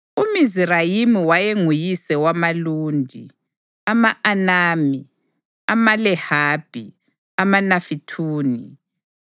UMizirayimi wayenguyise wamaLudi, ama-Anami, amaLehabhi, amaNafithuhi,